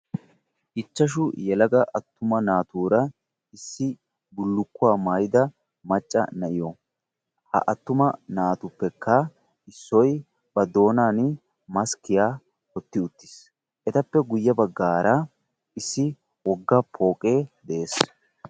ichchashu yelaga attuma naatuura issippe bullukkuwa maayida macca na'iyo . ha attuma naatuppekka issoy ba doonaani maskkiya wotti uttiis. etappe guye bagaara issi woga pooqee des.